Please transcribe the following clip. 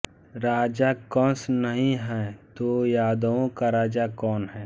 राजा कंस नहीं है तो यादवों का राजा कौन है